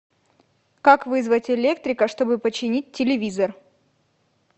как вызвать электрика чтобы починить телевизор